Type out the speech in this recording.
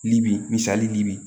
Libi misali libi